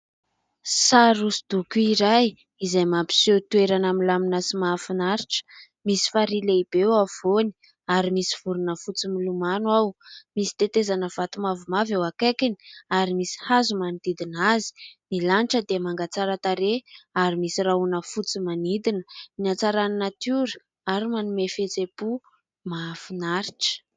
Sary hoso-doko iray izay mampiseho toerana milamina sy mahafinaritra. Misy faria lehibe eo afovoany ary misy vorona fotsy milomano ao. Misy tetezana vato mavomavo eo akaikiny ary misy hazo manodidina azy, ny lanitra dia manga tsara tareha ary misy rahona fotsy manodidina, ny a Hatsaran'ny natiora ary manome fihetseham-po mahafinaritra.